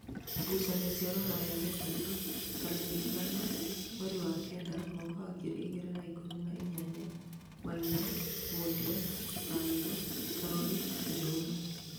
ngucanio cia rũraya wetatũ tarĩki ithano mweri wa Kenda mwaka wa ngiri igĩrĩ na ikũmi na inyanya: maina, mundia ,waweru, Karuri, njuguna